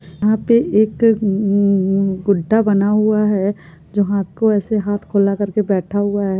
यहाँ पे एक गु गुड्डा बना हुआ है जो हाथ को ऐसे हाथ खुला करके बैठा है।